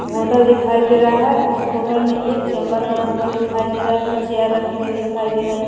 hotel दिखाई दे रहा है उस होटल में एक चैंबर बना हुआ दिखाई दे रहा है चेयर रखी हुई दिखाई दे रहै--